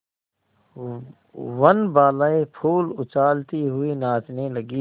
वनबालाएँ फूल उछालती हुई नाचने लगी